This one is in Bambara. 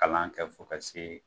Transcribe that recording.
Kalan kɛ fo ka se